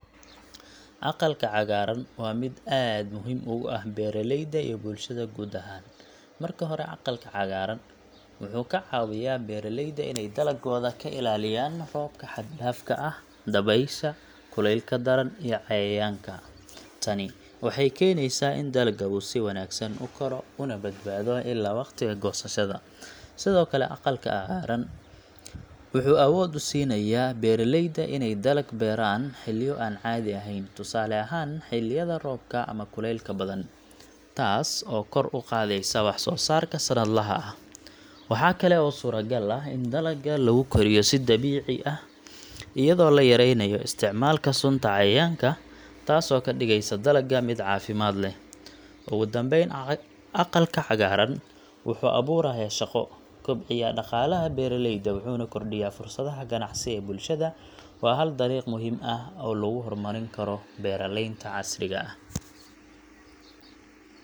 Aqalka cagaaran, waa mid aad muhiim ugu ah beeraleyda iyo bulshada guud ahaan. Marka hore, aqalka cagaaran wuxuu ka caawiyaa beeraleyda inay dalagooda ka ilaaliyaan roobka xad dhaafka ah, dabaysha, kulaylka daran, iyo cayayaanka. Tani waxay keenaysaa in dalagga uu si wanaagsan u koro, una badbaado ilaa waqtiga goosashada. Sidoo kale, aqalka cagaaran wuxuu awood u siinayaa beeraleyda inay dalag beeraan xilliyo aan caadi ahayn, tusaale ahaan xilliyada roobka ama kulaylka badan, taas oo kor u qaadaysa wax-soosaarka sanadlaha ah. Waxaa kale oo suuragal ah in dalagga lagu koriyo si dabiici ah, iyadoo la yareynayo isticmaalka sunta cayayaanka, taasoo ka dhigeysa dalagga mid caafimaad leh. Ugu dambeyn, aqalka cagaaran wuxuu abuurayaa shaqo, kobciyaa dhaqaalaha beeraleyda, wuxuuna kordhiyaa fursadaha ganacsi ee bulshada. Waa hal dariiq muhiim ah oo lagu horumarin karo beeraleynta casriga ah.